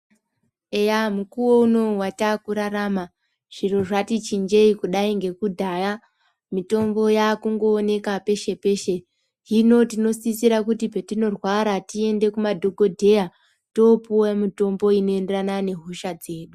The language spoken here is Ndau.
Eya mukuwo unowu wataakurarama, zviro zvati chinjeyi kudayi ngekudhaya. Mitombo yaakungooneka peshe-peshe. Hino tinosisira kuti petinorwara, tiende kumadhogodheya toopiwe mutombo unoenderana nehosha dzedu.